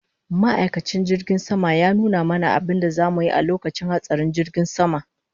Ma'aikacin jirgin sama ya nuna mana abinda zamu yi a lokacin hatsarin jirgin sama